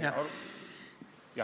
alla.